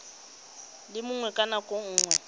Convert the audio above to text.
le mongwe ka nako nngwe